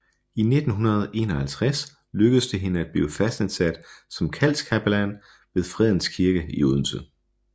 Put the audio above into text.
I 1951 lykkedes det hende at blive fastansat som kaldskapellan ved Fredens Kirke i Odense